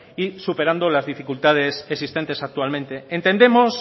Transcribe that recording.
y superando las dificultades existentes actualmente entendemos